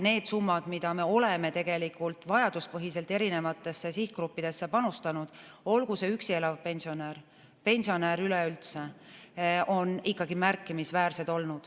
Need summad, mida me oleme tegelikult vajaduspõhiselt erinevatesse sihtgruppidesse panustanud, olgu see üksi elav pensionär või pensionär üleüldse, on olnud ikkagi märkimisväärsed.